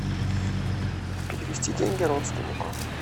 перевести деньги родственнику